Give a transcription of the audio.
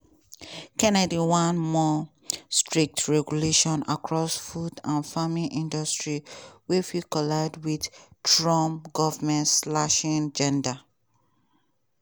kennedy want more strict regulation across food and farming industries wey fit collide wit trump govment-slashing agenda.